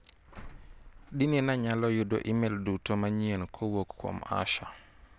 Dine nayalo yudo imel duto manyien kowuok kuom Asha.